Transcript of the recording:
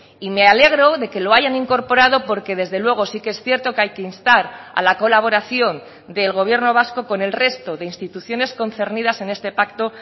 y me alegro de que lo hayan incorporado porque desde luego sí que es cierto que hay que instar a la colaboración del gobierno vasco con el resto de instituciones concernidas en este pacto